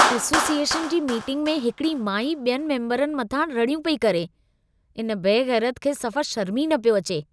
Association जी meeting में हिकिड़ी माई बि॒यनि मेम्बरनि मथां रड़ियूं पेई करे। इन बेग़ैरत खे सफ़ा शर्मु ई न पियो अचे।